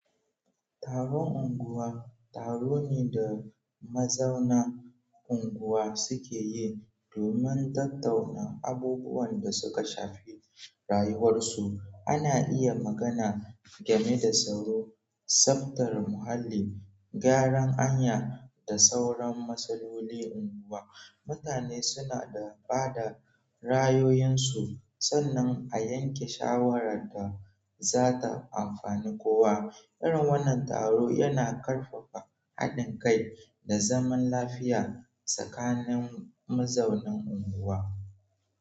Taron unguwa taro ne da mazaunan unguwa suke yi domin tattauna abubuwan da suka shafi rayuwarsu. Ana iya magana game da tsaro, tsaftar muhalli, gyaran hanya da sauran matsaloli unguwa. Mutane suna da bada ra'ayoyinsu sannan a yanke shawara da za ta amfani kowa. Irin wannan taro yana karfafa haɗin kai da zaman lafiya tsakanin mazaunan unguwa.